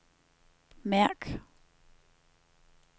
mærk